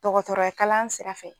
Dɔgɔtɔrɔya kalan sira fɛ